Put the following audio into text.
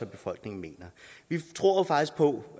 befolkningen mener vi tror jo faktisk på